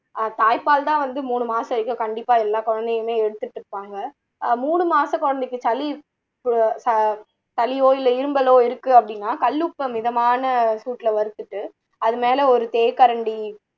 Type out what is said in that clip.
ஆஹ் தாய்பால் தான் வந்து மூணு மாசம் வரைக்கும் கண்டிப்பா எல்லா குழந்தைங்களுமே எடுத்துடு இருப்பாங்க மூணு மாச குழந்தைக்கு சளி பு சளியோ இல்லை இருமலோ இருக்கு அப்படின்னா கல்லு உப்பபை மிதமான சூட்டுல வருத்துட்டு அது மேல ஒரு தேக்கரண்டி